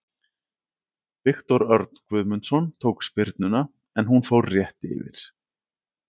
Viktor Örn Guðmundsson tók spyrnuna en hún fór rétt yfir.